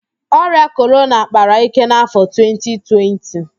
Ọrịa Korona kpara íké n'afọ 2020